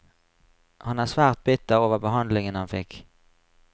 Han er svært bitter over behandlingen han fikk.